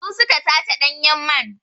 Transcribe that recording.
Su su ka sace ɗanyen man.